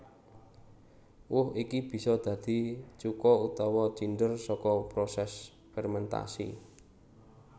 Woh iki bisa dadi cuka utawa cinder saka prosés fermentasi